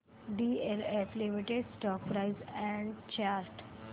DLF limited stock price and chart